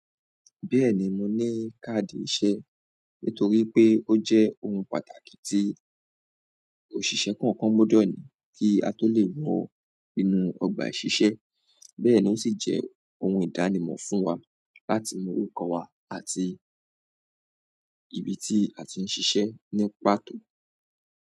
Bẹ́ẹ̀ni, mo ní káàdì iṣẹ́ nítorí pé ó jẹ́ ohun pàtàkì tí òṣìṣẹ́ kọ̀ọ̀kan gbọdọ̀ ní kí a tó lè wọ inú ọgbà ìṣiṣẹ́. Bẹ́ẹ̀ ni ó sì jẹ́ ohun ìdánimọ̀ fún wa láti mọrúkọ wa àti ibi tí a ti ń ṣiṣẹ́ ní pàtó.